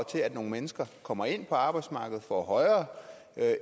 til at nogle mennesker kommer ind på arbejdsmarkedet får højere